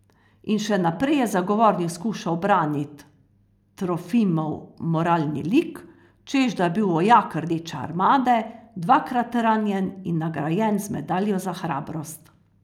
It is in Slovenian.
In še naprej je zagovornik skušal branit Trofimov moralni lik, češ da je bil vojak Rdeče armade, dvakrat ranjen in nagrajen z medaljo za hrabrost.